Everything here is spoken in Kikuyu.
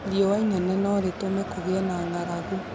Riũa inene no rĩtũme kũgĩe na ng'aragu